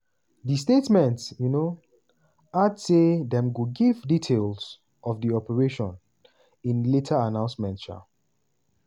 di statement um add say dem go give details of di operation in a later announcement. um